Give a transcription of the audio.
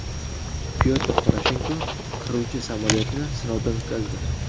Pyotr Poroshenko qiruvchi samolyotni sinovdan o‘tkazdi.